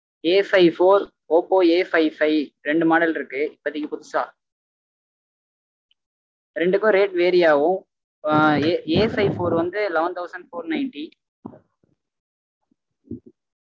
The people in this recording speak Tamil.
Afive four oppoAfive five ரெண்டு model இருக்கு இப்போதைக்கு புதுசா ரெண்டுக்கும் rate vary ஆகும் ஆஹ் Afive four வந்து eleven thousand four ninety